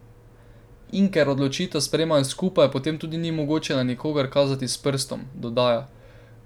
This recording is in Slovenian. In ker odločitev sprejmejo skupaj, potem tudi ni mogoče na nikogar kazati s prstom, dodaja.